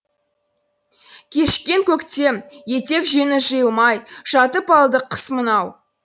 кешіккен көктем етек жеңі жиылмай жатып алды кыс мынау